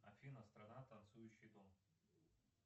афина страна танцующий дом